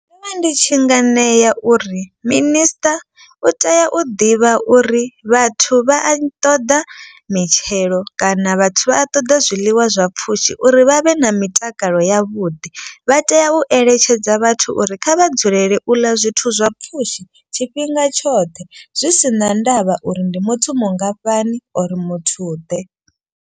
Ndi tshi nga ṋea uri minister u tea u ḓivha uri vhathu vha a ṱoḓa mitshelo kana vhathu vha a ṱoḓa zwiḽiwa zwa pfhushi. Uri vha vhe na mitakalo ya vhuḓi vha tea u eletshedza vhathu uri kha vha dzulele u ḽa zwithu zwa pfhushi tshifhinga tshoṱhe. Zwi si na ndavha uri ndi muthu mungafhani or muthu ḓe.